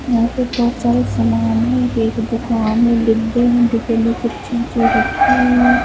यहां पर बहुत सारा सामान है एक दुकान है डिब्बे में डिब्बे में कुछ चीजें रखी हुई है।